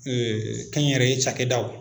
Ee ɲɛ n yɛrɛ ye cakɛdaw